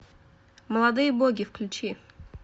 молодые боги включи